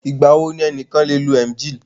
Ìgbà wo ni ẹnìkan lè lo Emgyl?